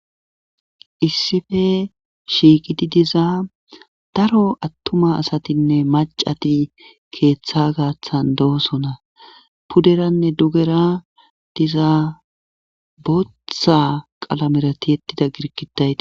issife shiiqidi diza daro attuma asatinne macati keeththa gaaththan doosona puderanne dugera diza botha qalamerati yettida girkitayi